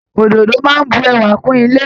Òdòdó máa ń bu ẹwà kún ilé